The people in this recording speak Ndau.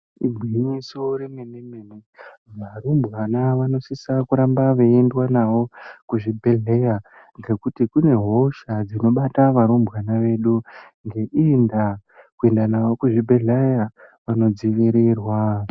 Igwinyiso remene-mene. Varumbwana vanosisa kuramba veiendwa navo kuzvibhedhleya ngekuti kune hosha dzinobata varumbwana vedu. Ngeiyi ndaa vanodzivirirwa.